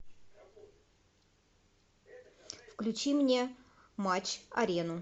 включи мне матч арену